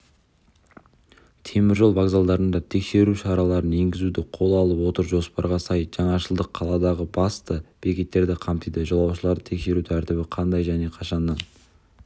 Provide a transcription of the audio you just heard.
теміржол вокзалдарында тексеру шараларын еңгізуді қол алып отыр жоспарға сай жаңашылдық қаладағы басты бекеттерді қамтиды жолаушыларды тексеру тәртібі қандай және қашаннан